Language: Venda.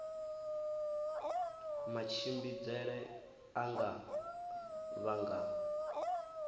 matshimbidzele a nga vha nga